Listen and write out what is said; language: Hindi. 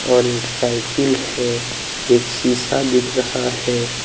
और एक साइकिल है एक शीशा दिख रहा है।